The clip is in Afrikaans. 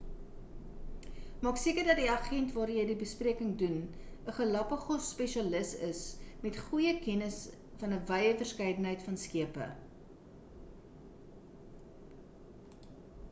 maak seker dat die agent waardeur jy die bespreking doen 'n galapagos-spesialis is met 'n goeie kennis van 'n wye verskeidenheid van skepe